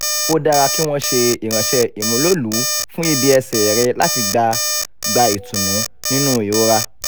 ó dára kí wọ́n ṣe ìrànṣẹ́ ìmúlòlùú fún ibi ẹsẹ̀ rẹ̀ láti gba gba ìtùnú nínú ìrora